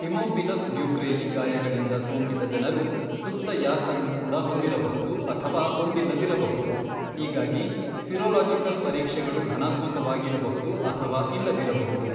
Haemophilus ducreyi ಗಾಯಗಳಿಂದ ಸೋಂಕಿತ ಜನರು ಸುಪ್ತ ಯಾಸ಼ನ್ನು ಕೂಡ ಹೊಂದಿರಬಹುದು ಅಥವಾ ಹೊಂದಿಲ್ಲದಿರಬಹುದು, ಹೀಗಾಗಿ ಸಿರೊಲಾಜಿಕಲ್ ಪರೀಕ್ಷೆಗಳು ಧನಾತ್ಮಕವಾಗಿರಬಹುದು ಅಥವಾ ಇಲ್ಲದಿರಬಹುದು.